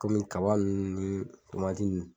Komi kaba ninnu ni ninnu.